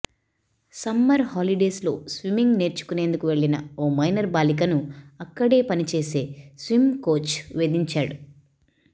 summer holidays లో swimming నేర్చుకునేందుకు వెళ్లిన ఓ మైనర్ బాలికను అక్కడే పనిచేసే స్విమ్ కోచ్ వేధించాడు